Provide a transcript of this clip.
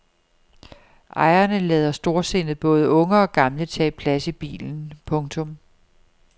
Ejeren lader storsindet både unge og gamle tage plads i bilen. punktum